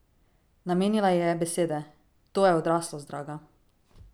Namenila ji je besede: 'To je odraslost, draga.